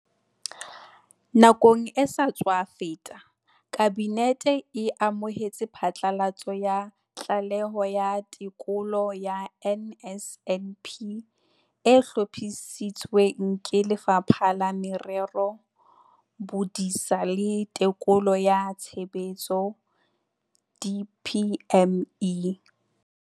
Nakong e sa tswa feta, Kabinete e amohetse phatlalatso ya Tlaleho ya Tekolo ya NSNP e hlophisitsweng ke Lefapha la Merero, Bodisa le Tekolo ya Tshebetso, DPME.